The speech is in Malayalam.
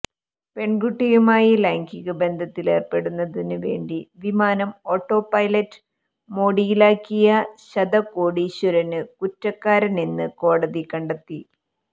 പെണ്കുട്ടിയുമായി ലൈംഗിക ബന്ധത്തിലേര്പ്പെടുന്നതിന് വേണ്ടി വിമാനം ഓട്ടോ പൈലറ്റ് മോഡിലാക്കിയ ശത കോടീശ്വരന് കുറ്റക്കാരനെന്ന് കോടതി കണ്ടെത്തി